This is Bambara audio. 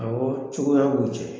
Ɔwɔ cogoya b'u cɛ